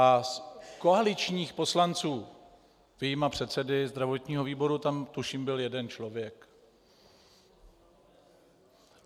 A z koaličních poslanců vyjma předsedy zdravotního výboru tam tuším byl jeden člověk.